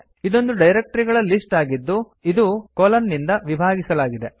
ಇದೊಂದು ಡೈರಕ್ಟರಿಗಳ ಲಿಸ್ಟ್ ಆಗಿದ್ದು ಇದು160 ಕೊಲನ್ ನಿಂದ ವಿಭಾಗಿಸಲಾಗಿದೆ